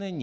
Není.